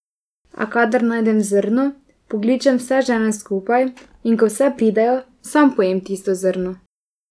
A kadar najdem zrno, pokličem vse žene skupaj, in ko vse pridejo, sam pojem tisto zrno.